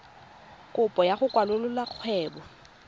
kopo ya go kwalolola kgwebo